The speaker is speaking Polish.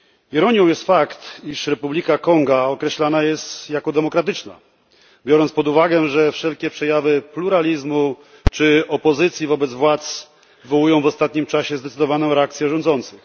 Ironią jest fakt, iż Republika Konga określana jest jako Demokratyczna, biorąc pod uwagę, że wszelkie przejawy pluralizmu czy opozycji wobec władz wywołują w ostatnim czasie zdecydowaną reakcję rządzących.